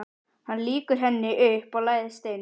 Hann lýkur henni upp og læðist inn.